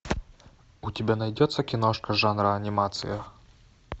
у тебя найдется киношка жанра анимация